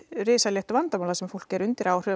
rosalegt vandamál þar sem fólk er undir áhrifum